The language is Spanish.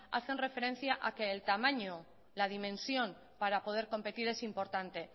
hacen referencia a que el tamaño la dimensión para poder competir es importante